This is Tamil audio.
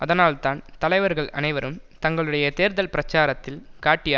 அதனால் தான் தலைவர்கள் அனைவரும் தங்களுடைய தேர்தல் பிரச்சாரத்தில் காட்டிய